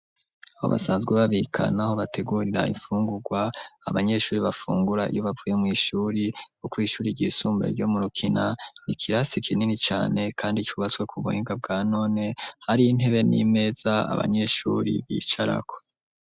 Abo basanzwe babikanaho bategurira imfungurwa abanyeshuri bafungura iyoubavuye mw'ishuri uko ishuri ryisumba ryo mu rukina ikirasi ikinini cane, kandi cubatswe ku buhimbwe bwa none hari intebe n'imeza abanyeshuri bicarako.